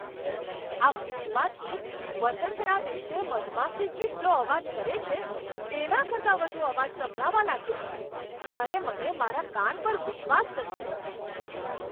મારા ફ્રિજમાંથી વસંતના દિવસે મધમાખી જેટલો અવાજ કરે છે, તેના કરતાં વધુ અવાજ સંભળાવા લાગ્યો ત્યારે મને મારા કાન પર વિશ્વાસ ન થયો!